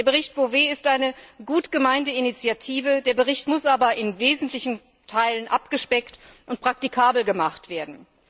Der Bericht Bové ist eine gut gemeinte Initiative, muss aber in wesentlichen Teilen abgespeckt und praktikabel gemacht werden.